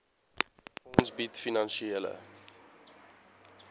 fonds bied finansiële